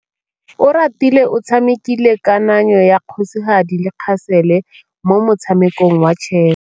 Oratile o tshamekile kananyô ya kgosigadi le khasêlê mo motshamekong wa chess.